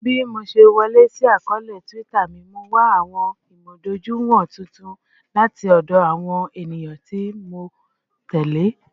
Bi mo ṣe wọle si akọọlẹ Twitter mi, Mo wa awọn imudojuiwọn tuntun lati ọdọ awọn eniyan ti Mo tẹle